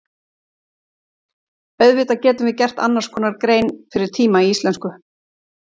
Auðvitað getum við gert annars konar grein fyrir tíma í íslensku.